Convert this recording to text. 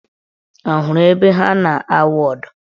Ọ hụrụ ebe ha na-awụ ụdọ?